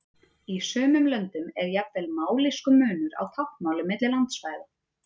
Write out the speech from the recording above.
Í sumum löndum er jafnvel mállýskumunur á táknmáli milli landsvæða.